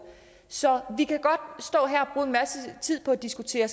så vi kan godt stå her og bruge en masse tid på at diskutere